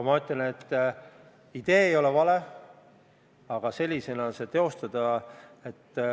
Ma ütlen, et idee ei ole vale, aga sellisena seda teostada ...